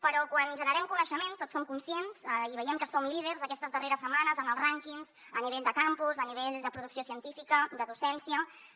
però quan generem coneixement tots som conscients i veiem que som líders aquestes darreres setmanes en els rànquings a nivell de campus a nivell de producció científica de docència